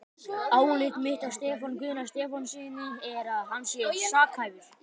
Álit mitt á Stefáni Guðna Stefánssyni er, að hann sé sakhæfur.